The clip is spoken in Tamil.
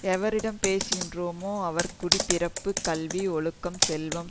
எவரிடம் பேசின்றோமோ அவர் குடி பிறப்பு கல்வி ஒழுக்கம் செல்வம்